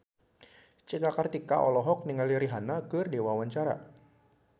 Cika Kartika olohok ningali Rihanna keur diwawancara